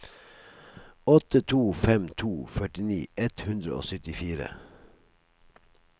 åtte to fem to førtini ett hundre og syttifire